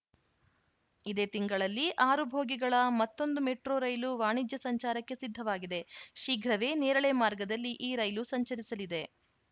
ಇದೇ ತಿಂಗಳಲ್ಲಿ ಆರು ಬೋಗಿಗಳ ಮತ್ತೊಂದು ಮೆಟ್ರೋ ರೈಲು ವಾಣಿಜ್ಯ ಸಂಚಾರಕ್ಕೆ ಸಿದ್ಧವಾಗಿದೆ ಶೀಘ್ರವೇ ನೇರಳೆ ಮಾರ್ಗದಲ್ಲಿ ಈ ರೈಲು ಸಂಚರಿಸಲಿದೆ